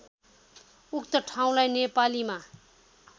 उक्त ठाउँलाई नेपालीमा